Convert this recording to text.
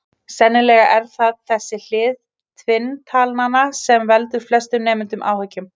Sennilega er það þessi hlið tvinntalnanna sem veldur flestum nemendum áhyggjum.